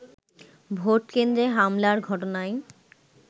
ভোটকেন্দ্রে হামলার ঘটনায়